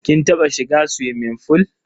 Kin taba shiga suwimin fool?